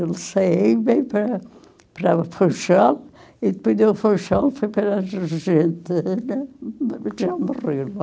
Ele saía e veio para para, e depois de foi para a Argentina, já morreu lá.